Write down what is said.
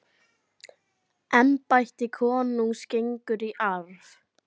Embætti konungs gengur í arf.